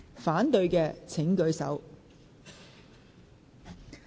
反對的請舉手。